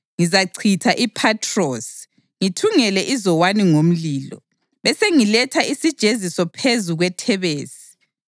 Ngizachitha iPhathrosi, ngithungele iZowani ngomlilo, besengiletha isijeziso phezu kweThebesi.